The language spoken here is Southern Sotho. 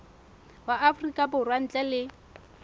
wa afrika borwa ntle le